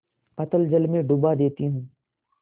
अतल जल में डुबा देती हूँ